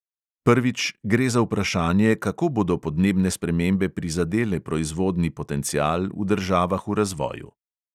Prvič, gre za vprašanje, kako bodo podnebne spremembe prizadele proizvodni potencial v državah v razvoju.